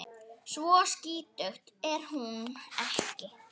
Svo skítug er hún ekki.